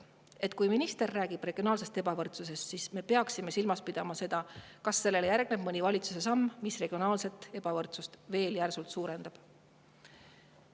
Nii et kui minister räägib regionaalsest ebavõrdsusest, siis me peaksime jälgima, kas sellele järgneb ehk mõni valitsuse samm, mis regionaalset ebavõrdsust veel järsult suurendab.